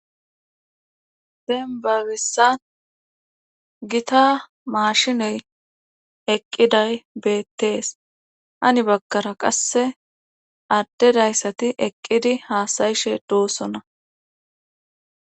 Dembba bessan gita maashiney eqqiday beetees hani baggara qasse adde dayssati eqqidi haasa7ishe doosona.